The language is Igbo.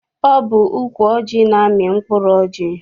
Ọ bụ ukwu ọjị na-amị mkpụrụ ọjị.